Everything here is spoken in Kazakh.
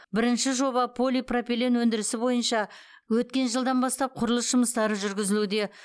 бірінші жоба полипропилен өндірісі бойынша өткен жылдан бастап құрылыс жұмыстары жүргізілуде